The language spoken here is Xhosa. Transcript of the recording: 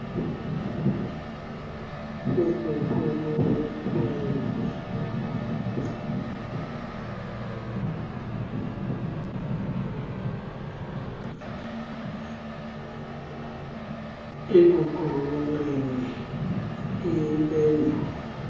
ekuqulunqeni im pendulo